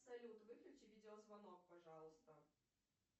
салют выключи видеозвонок пожалуйста